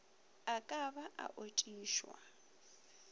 a ka ba a otišwa